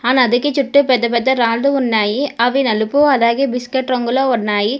ఆ నదికి చూట్టూ పెద్ద పెద్ద రాళ్ళు ఉన్నాయి అవి నలుపు అలాగే బిస్కెట్ రంగులో ఉన్నాయి.